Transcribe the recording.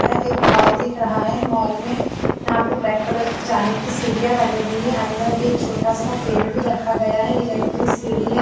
यह एक मॉल दिख रहा है मॉल में यहाँ पे ब्लैक कलर की जाने की सीढ़ियाँ बनी हुई है अन्दर ये एक छोटा- सा पेड़ भी रखा गया है इलेक्टिक सिढी हैं ।